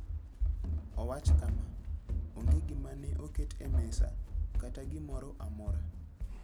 Owacho kama: "Onge gima ne oket e mesa, kata gimoro amora.